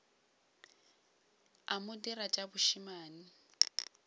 a mo dira tša bošemane